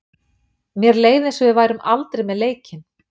Mér leið eins og við værum aldrei með leikinn.